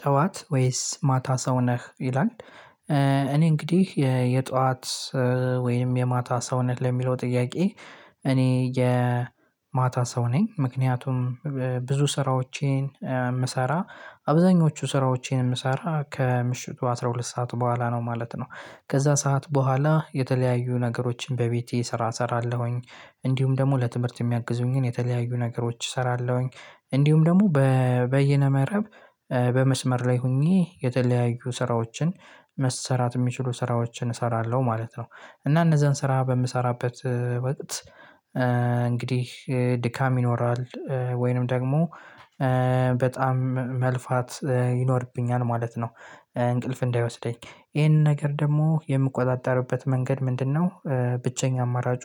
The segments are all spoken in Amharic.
ጠዋት ወይስ ማታ ሰው ነህ ይላል? እኔ እንግዲህ የጠዋት ወይም የማታ ሰው ነህ ለሚለው ጥያቄ እኔ የ ማታ ሰው ነኝ። ምክንያቱም ብዙ ስራዎቼን የምሰራ አብዛኞቹ ስራዎቼን የምሰራ ከምሽቱ አስራ ሁለት ሰዓት በኋላ ነው ማለት ነው። ከዛ ሰዓት በኋላ የተለያዩ ነገሮችን በቤቴ ስራ እሰራለሁኝ። እንዲሁም ደግሞ ለትምህርት የሚያግዙኝን የተለያዩ ነገሮች እሰራለሁኝ። እንዲሁም ደግሞ በ በየነ መረብ በመስመር ላይ ሁኜ የተለያዩ ስራዎችን መሰራት የሚችሉ ስራዎችን እሰራለሁ ማለት ነው። እና እነዛን ስራ በምሰራበት ወቅት እንግዲህ ድካም ይኖራል ወይንም ደግሞ በጣም መልፋት ይኖርብኛል ማለት ነው እንቅልፍ እንዳይወስደኝ ይሄንን ነገር ደግሞ የምቆጣጠርበት መንገድ ምንድነው? ብቸኛው አማራጩ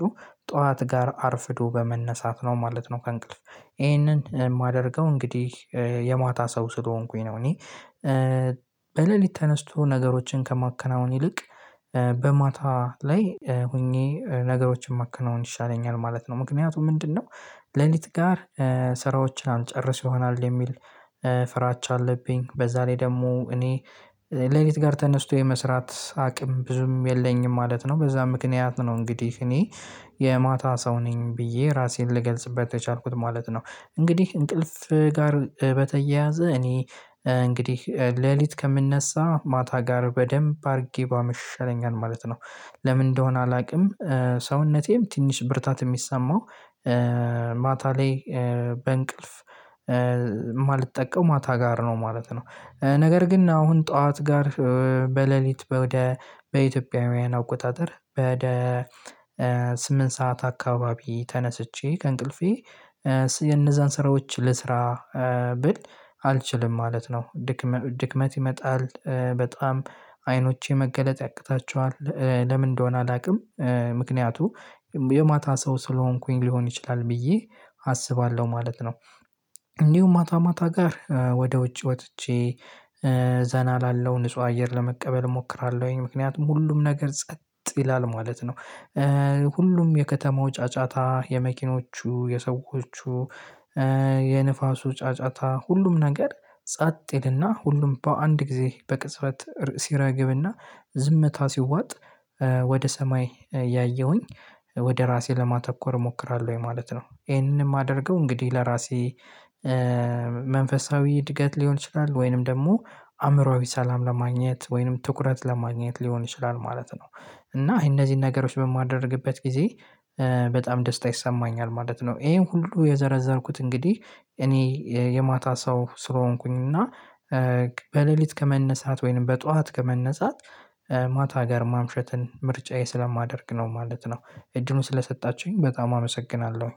ጠዋት ጋር አርፍዶ በመነሳት ነው ማለት ነው። ከእንቅልፍ ይሄንን የማደርገው እንግዲህ የማታ ሰው ስለሆንኩኝ ነው። እኔ በሌሊት ተነስቶ ነገሮችን ከማከናውን ይልቅ በማታ ላይ ሁኜ ነገሮችን ማከናወን ይሻለኛል ማለት ነው። ምክንያቱ ምንድነው? ሌሊት ጋር ስራዎች አልጨርስ ይሆናል የሚል ፍራቻ አለብኝ። በዛ ላይ ደግሞ እኔ ሌሊት ጋር ተነስቶ የመስራት አቅም ብዙም የለኝም ማለት ነው። በዛ ምክንያት ነው እንግዲህ እኔ የማታ ሰው ነኝ ብዬ ራሴን ልገልጽበት የቻልኩት ማለት ነው። እንግዲህ እንቅልፍ ጋር በተያያዘ እኔ እንግዲህ ሌሊት ከምነሳ ማታ ጋር በደንብ አርጌ ባመሽ ይሻለኛል ማለት ነው። ለምን እንደሆነ አላውቅም። ሰውነቴም ትንሽ ብርታት የሚሰማው ማታ ላይ በእንቅልፍ እማልጠቀው ማታ ጋር ነው ማለት ነው። ነገር ግን አሁን ጠዋት ጋር በሌሊት በ ወደ በኢትዮጵያውያን አቆጣጠር በ ደ ስምንት ሰዓት አካባቢ ተነስቼ ከእንቅልፌ እነዛን ስራዎች ልስራ ብል አልችልም። ማለት ነው ድክም ድክመት ይመጣል በጣም አይኖቼ መገለጥ ያቅታቸዋል። ለምን እንደሆነ አላውቅም። ምክንያቱ የማታ ሰው ስለሆንኩኝ ሊሆን ይችላል ብዬ አስባለሁ ማለት ነው። እንዲሁም ማታ ማታ ጋር ወደ ውጭ ወጥቼ ዘና እላለው ንጹህ አየር ለመቀበል እሞክራለሁኝ ምክንያቱም ሁሉም ነገር ጸጥ ይላል ማለት ነው። ሁሉም የከተማው ጫጫታ የመኪኖቹ የሰዎቹ የንፋሱ ጫጫታ ሁሉም ነገር ጸጥ ይልና ሁሉም በአንድ ጊዜ በቅጽበት ሲረግብና ዝምታ ሲዋጥ ወደ ሰማይ እያየሁኝ ወደ ራሴ ለማተኮር እሞክራለሁኝ ማለት ነው። ይሄንን የማደርገው እንግዲህ ለራሴ መንፈሳዊ እድገት ሊሆን ይችላል ወይንም ደግሞ አእምሮአዊ ሰላም ለማግኘት ወይንም ትኩረት ለማግኘት ሊሆን ይችላል ማለት ነው። እና እነዚህን ነገሮች በማደርግበት ጊዜ በጣም ደስታ ይሰማኛል ማለት ነው። ይሄን ሁሉ የዘረዘርኩት እንግዲህ እኔ የማታ ሰው ስለሆንኩኝ እና በሌሊት ከመነሳት ወይንም በጧት ከመነሳት ማታ ጋር ማምሸትን ምርጫዬ ስለማደርግ ነው ማለት ነው። እድሉን ስለሰጣችሁኝ በጣም አመሰግናለሁ።